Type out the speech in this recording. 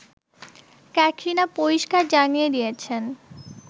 ক্যাটরিনা পরিস্কার জানিয়ে দিয়েছেন